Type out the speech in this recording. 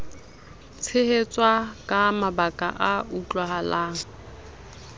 tshehetswa ka mabaka a utlwahalang